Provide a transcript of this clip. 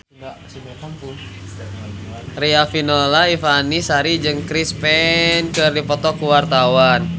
Riafinola Ifani Sari jeung Chris Pane keur dipoto ku wartawan